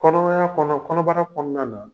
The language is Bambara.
Kɔnɔmaya la kɔnɔbara kɔnɔna na